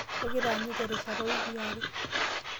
Kagira aanyu terishata oowiki are.